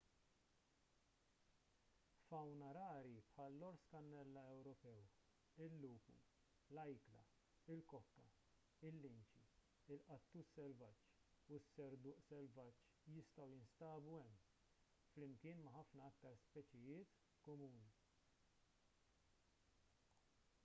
fawna rari bħall-ors kannella ewropew il-lupu l-ajkla il-kokka il-linċi il-qattus selvaġġ u s-serduq selvaġġ jistgħu jinstabu hemm flimkien ma' ħafna aktar speċijiet komuni